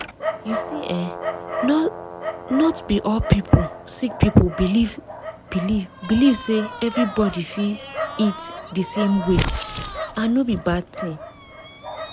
you see eh not be all sick people believe believe say ah everybody fit eat di same way and no be bad tin.